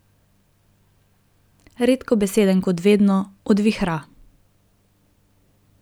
Redkobeseden kot vedno, odvihra.